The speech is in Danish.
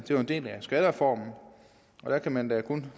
det var en del af skattereformen og der kan man da kun